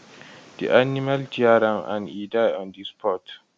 di animal tear am and e die on di spot